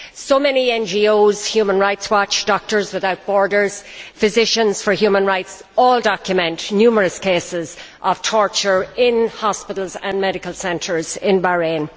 So many NGOs such as Human Rights Watch, Doctors Without Borders or Physicians for Human Rights have documented numerous cases of torture in hospitals and medical centres in Bahrain.